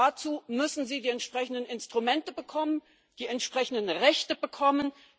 Dazu müssen die Bürger die entsprechenden Instrumente bekommen, die entsprechenden Rechte bekommen.